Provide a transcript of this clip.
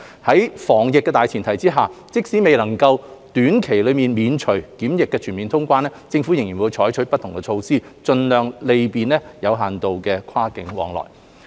在防疫的大前提下，即使未能在短期內免除檢疫全面通關，政府仍會採取不同措施盡量便利有限度的跨境往來。